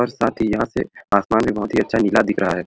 और साथ ही यहाँ से आसमान बहुत ही अच्छा नीला दिख रहा है।